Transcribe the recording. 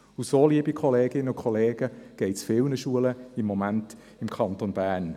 Und so, liebe Kolleginnen und Kollegen, ergeht es im Moment vielen Schulen im Kanton Bern.